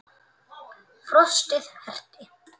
Frostið herti.